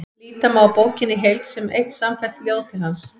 Líta má á bókina í heild sem eitt samfellt ljóð til hans.